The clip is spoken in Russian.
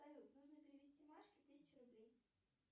салют нужно перевести машке тысячу рублей